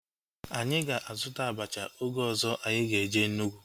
Anyị ga-azuta abacha oge ọzọ anyị ga-eje Enugwu